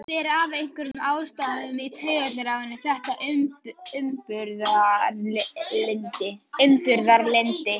Fer af einhverjum ástæðum í taugarnar á henni þetta umburðarlyndi.